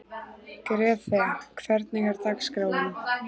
Grethe, hvernig er dagskráin?